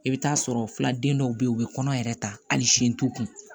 I bɛ t'a sɔrɔ filaden dɔw bɛ yen u bɛ kɔnɔ yɛrɛ ta hali sini t'u kun